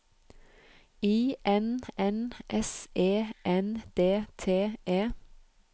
I N N S E N D T E